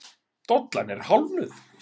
Dollan er hálfnuð.